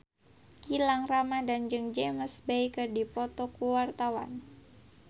Gilang Ramadan jeung James Bay keur dipoto ku wartawan